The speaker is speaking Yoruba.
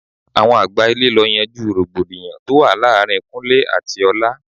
Àwọn àgbà ilé lọ yanjú rògbòdìyàn tó wà láàárín Kúnlẹ́ àti ọlá.